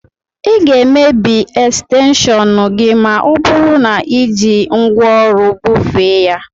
Ị ga-emebi ekstenshọnu gị ma ọ bụru na i ji ngwaọrụ bufee ya.